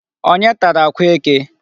Onye tara akwa eke?